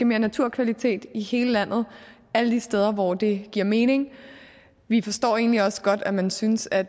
mere naturkvalitet i hele landet alle de steder hvor det giver mening vi forstår egentlig også godt at man synes at